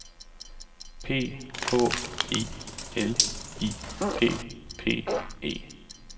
P H I L I P P E